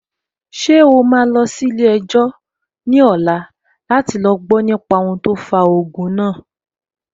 Ṣé o máa lọ sí ilé-ẹjọ́ ní ọ̀la láti gbọ nípa ohun tó fa ogun náà?